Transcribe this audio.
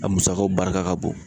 A musakaw barika ka bon.